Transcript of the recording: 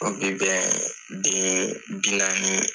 O bi bɛn den bi naani